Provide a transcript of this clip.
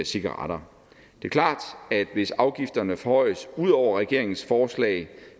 cigaretter det er klart at hvis afgifterne forhøjes ud over regeringens forslag